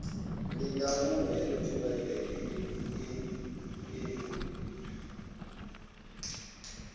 ndi ndangulo ya netiweke ine